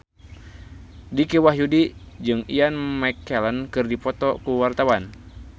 Dicky Wahyudi jeung Ian McKellen keur dipoto ku wartawan